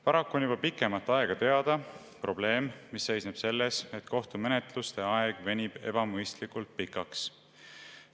Paraku on juba pikemat aega teada probleem, mis seisneb selles, et kohtumenetluste aeg venib ebamõistlikult pikaks.